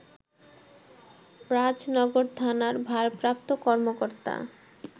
রাজনগর থানার ভারপ্রাপ্ত কর্মকর্তা